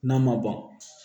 N'a ma ban